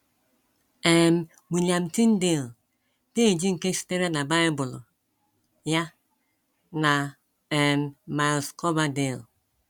um William Tyndale, peeji nke sitere na Bible ya, na um Miles Coverdale